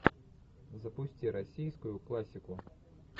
запусти российскую классику